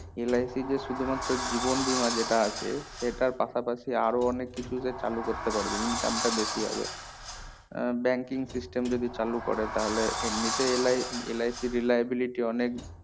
LIC যে শুধু মাত্র জীবন বীমা যেইটা আছে সেইটা পাশাপাশি আরো অনেক কিছু যে চালু কারাতে পারবে income টা বেশি হবে আহ banking system যদি তাহলে এমনিতেই LI~LICreliability অনেক